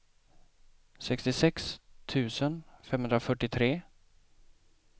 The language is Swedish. sextiosex tusen femhundrafyrtiotre